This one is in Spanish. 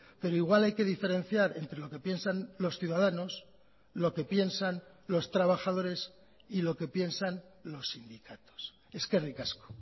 pero igual hay que diferenciar entre lo que piensan los ciudadanos lo que piensan los trabajadores y lo que piensan los sindicatos eskerrik asko